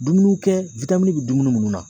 Dumuni kɛ bɛ dumuni minnu na.